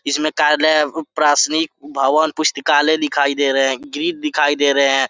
इसमें कार्यालय प्रासनिक भवन पुस्तकालय दिखाई दे रहे हैं गीत दिखाई दे रहे हैं।